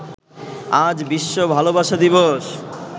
আজ বিশ্ব ভালোবাসা দিবস